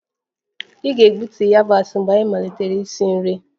Ị ga-egbutu yabasị mgbe anyị malitere isi nri